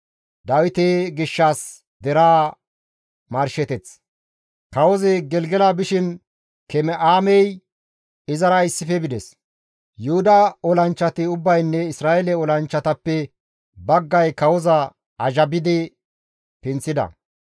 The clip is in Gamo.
Kawozi Gelgela bishin Keme7aamey izara issife bides; Yuhuda olanchchati ubbaynne Isra7eele olanchchatappe baggay kawoza azhabidi pinththida.